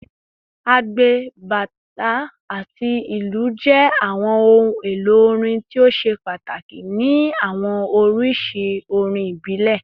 Agbe, bata, ati ilu jẹ awọn ohun-elo orin ti o ṣe pataki ni awọn oriṣi orin ibile